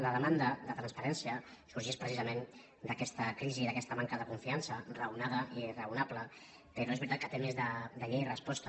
la demanda de transparència sorgeix precisament d’aquesta crisi d’aquesta manca de confiança raonada i raonable però és veritat que té més de llei i resposta